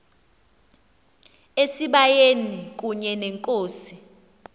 esibayeni kunye nenkosi